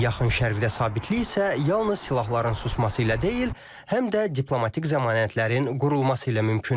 Yaxın Şərqdə sabitlik isə yalnız silahların susması ilə deyil, həm də diplomatik zəmanətlərin qurulması ilə mümkündür.